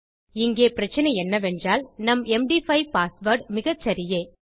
இங்கே பிரச்சினை என்னவென்றால் நம் எம்டி5 பாஸ்வேர்ட் மிகச்சரியே